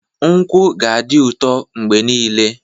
Nkwụ ga-adị ụtọ mgbe niile.